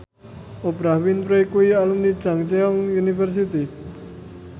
Oprah Winfrey kuwi alumni Chungceong University